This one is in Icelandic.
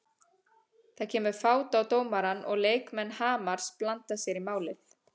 Það kemur fát á dómarann og leikmenn Hamars blanda sér í málið.